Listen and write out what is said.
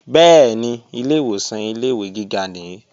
Bẹ́ẹ̀ni, ilè ìwòsàn ilé-ìwé gíga nìí